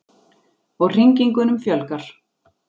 Og hringingunum fjölgar.